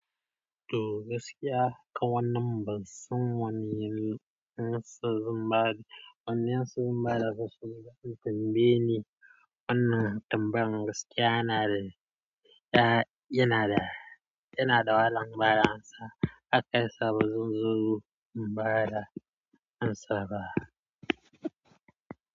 To gaskiya haka wannan bansan wane yan sa zun bada, wannan su zun bada basu, dan bene wannan tambayar gaskiya na da, yanada wahalan bada amsa, hakan yasan bazan iya bada amsa ba.